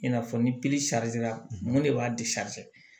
I n'a fɔ ni mun de b'a